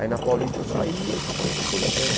Aí na Paulista eu saí e fui para a Metropolitana.